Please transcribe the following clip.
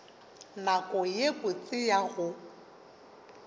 nako ye botse ya go